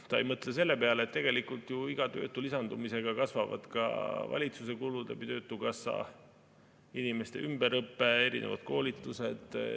Ta ei mõtle selle peale, et tegelikult iga töötu lisandumisega kasvavad ka valitsuse kulud töötukassa kaudu – inimeste ümberõpe, erinevad koolitused.